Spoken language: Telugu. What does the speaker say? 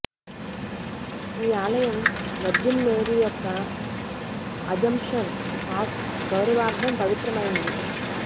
ఈ ఆలయం వర్జిన్ మేరీ యొక్క అజంప్షన్ ఆఫ్ గౌరవార్ధం పవిత్రమైంది